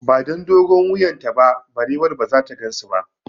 Ba don dogon wuyan ta ba, barewar ba zata gansu ba